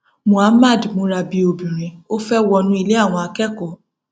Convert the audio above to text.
muhammad múra bíi obìnrin ó fẹẹ wọnú ilé àwọn akẹkọọ